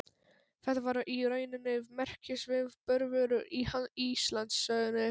Þetta var í rauninni merkisviðburður í Íslandssögunni.